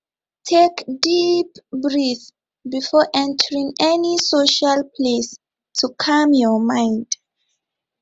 take deep breath before entering any social place to calm your mind